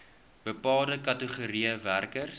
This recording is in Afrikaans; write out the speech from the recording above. bepaalde kategorieë werkers